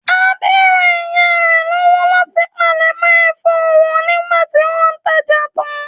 Adé ran ìyá rẹ̀ lọ́wọ́ láti palẹ̀mọ́ ẹ̀fọ́ wọn nígbà tí wọ́n tajà tán.